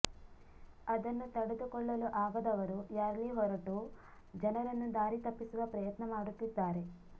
ಅದನ್ನು ತಡೆದುಕೊಳ್ಳಲು ಆಗದವರು ರ್ಯಾಲಿ ಹೊರಟು ಜನರನ್ನು ದಾರಿ ತಪ್ಪಿಸುವ ಪ್ರಯತ್ನ ಮಾಡುತ್ತಿದ್ದಾರೆ